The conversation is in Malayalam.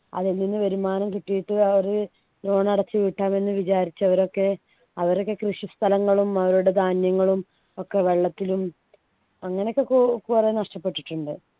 അതിൽനിന്നു വരുമാനം കിട്ടിയിട്ട് അവര് loan അടച്ചു വീട്ടാണെന്ന് വിചാരിച്ചവരൊക്കെ അവരൊക്കെ കൃഷി സ്ഥലങ്ങളും അവരുടെ ധാന്യങ്ങളും ഒക്കെ വെള്ളത്തിലും അങ്ങനെയൊക്കെ കു കുറെ നഷ്ടപ്പെട്ടിട്ടുണ്ട്